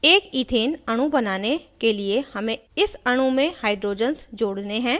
एक इथेन अणु बनाने के लिए हमें इस अणु में hydrogens जोड़ने हैं